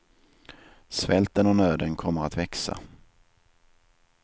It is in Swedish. Svälten och nöden kommer att växa.